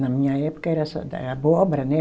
Na minha época era essa da abóbora, né?